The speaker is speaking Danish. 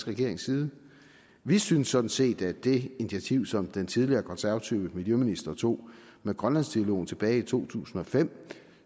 regerings side vi synes sådan set at det initiativ som den tidligere konservative miljøministeren tog med grønlandsdialogen tilbage i to tusind og fem